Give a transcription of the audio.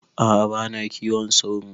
A'a bana kiwon sauro